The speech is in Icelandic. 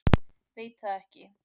Veit það ekki.